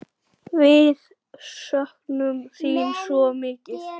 Við söknum þín svo mikið.